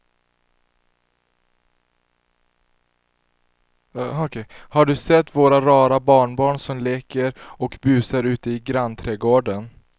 Har du sett våra rara barnbarn som leker och busar ute i grannträdgården!